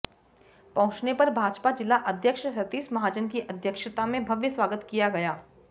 पहुंचने पर भाजपा जिला अध्यक्ष सतीश महाजन की अध्यक्षता में भव्य स्वागत किया गया